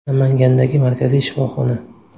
Namangandagi markaziy shifoxona.